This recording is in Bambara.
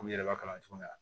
Olu yɛrɛ b'a kalan cogo min na